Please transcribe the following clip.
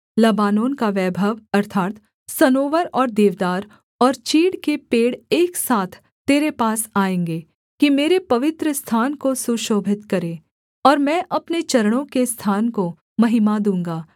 Lebanon का वैभव अर्थात् सनोवर और देवदार और चीड़ के पेड़ एक साथ तेरे पास आएँगे कि मेरे पवित्रस्थान को सुशोभित करें और मैं अपने चरणों के स्थान को महिमा दूँगा